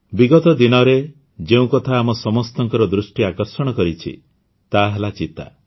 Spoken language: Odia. ବିଗତ ଦିନରେ ଯେଉଁ କଥା ଆମ ସମସ୍ତଙ୍କ ଦୃଷ୍ଟି ଆକର୍ଷଣ କରିଛି ତାହା ହେଲା ଚିତା